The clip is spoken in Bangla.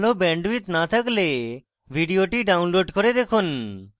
ভাল bandwidth না থাকলে ভিডিওটি download করে দেখুন